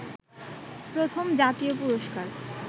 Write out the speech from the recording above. প্রথম জাতীয় পুরষ্কার